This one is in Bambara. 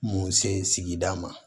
Mun se sigida ma